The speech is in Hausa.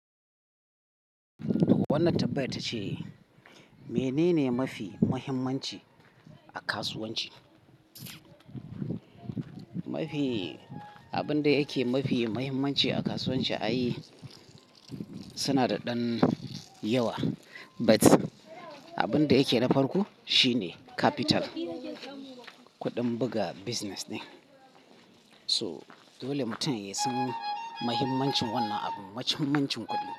Wannan tambayar ta ce mene ne mafi muhimmanci a kasuwanci? Abin da yake mafi muhimmanci a kasuwanci ai suna da ɗan yawa, but abin da yake na farko shi ne capital, kuɗin buga business ɗin to dole mutum ya san mahimmancin wannan abu, mahimmancin kuɗi.